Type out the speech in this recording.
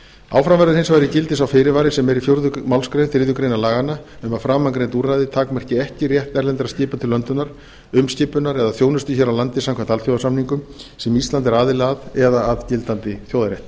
áfram verður hins vegar í gildi sá fyrirvari sem er í fjórðu málsgrein þriðju grein laganna um að framangreind úrræði takmarki ekki rétt erlendra skipa til löndunar umskipunar eða þjónustu hér á landi samkvæmt alþjóðasamningum sem ísland er aðili að eða að gildandi þjóðarrétti